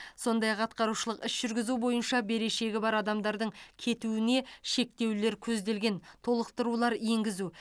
сондай ақ атқарушылық іс жүргізу бойынша берешегі бар адамдардың кетуіне шектеулер көзделген толықтырулар енгізу